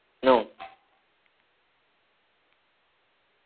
ന്നു